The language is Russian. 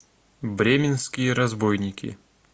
бременские разбойники